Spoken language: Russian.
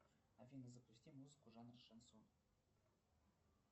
афина запусти музыку жанр шансон